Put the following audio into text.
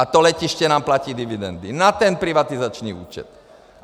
A to letiště nám platí dividendy na ten privatizační účet.